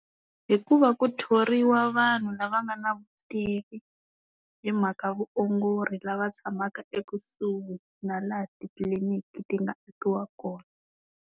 Hikuva ku thoriwa vanhu lava nga na vutivi hi mhaka vuongori lava tshamaka ekusuhi na laha titliliniki ti nga akiwa kona.